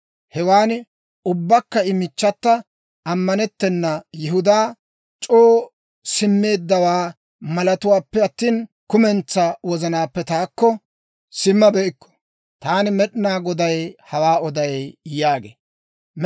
Hewan ubbankka I michchata, ammanettena Yihudaa, c'oo simmeeddawaa malatawuppe attina, kumentsaa wozanaappe taakko simmabeykku. Taani Med'inaa Goday hawaa odaad» yaageedda.